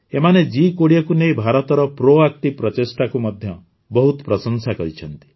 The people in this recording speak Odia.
ଏମାନେ ଜି୨୦ କୁ ନେଇ ଭାରତର ପ୍ରୋଆକ୍ଟିଭ ପ୍ରଚେଷ୍ଟାକୁ ମଧ୍ୟ ବହୁତ ପ୍ରଶଂସା କରିଛନ୍ତି